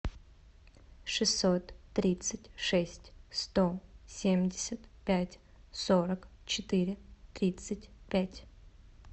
шестьсот тридцать шесть сто семьдесят пять сорок четыре тридцать пять